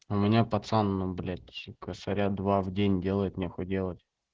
у меня пацан ну блять косаря два в день делать нехуй делать